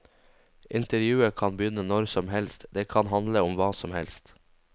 Intervjuet kan begynne når som helst, det kan handle om hva som helst.